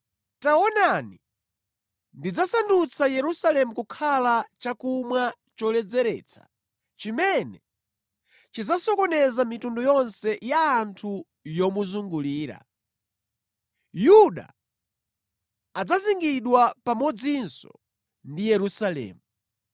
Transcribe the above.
“Taonani, ndidzasandutsa Yerusalemu kukhala chakumwa choledzeretsa chimene chidzasokoneza mitundu yonse ya anthu yomuzungulira. Yuda adzazingidwa pamodzinso ndi Yerusalemu.